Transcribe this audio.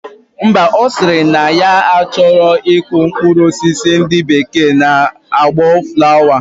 Mba, osiri na ya achoro iku mkprur osisi ndi bekee na akpo flower